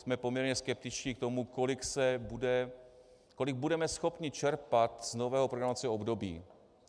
Jsme poměrně skeptičtí k tomu, kolik budeme schopni čerpat z nového programovacího období.